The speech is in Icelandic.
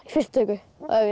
fyrstu töku